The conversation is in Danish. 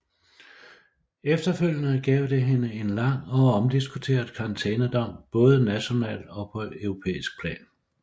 Efterfølgende gav det hende en lang og omdiskuteret karantænedom både nationalt og på europæisk plan